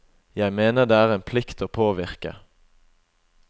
Jeg mener det er en plikt å påvirke.